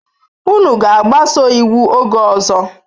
Unu ga-agbaso iwu oge ọzọ.